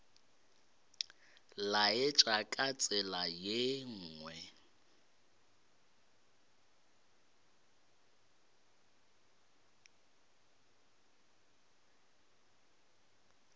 laetša ka tsela ye nngwe